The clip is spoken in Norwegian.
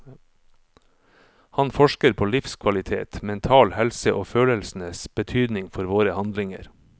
Han forsker på livskvalitet, mental helse og følelsenes betydning for våre handlinger.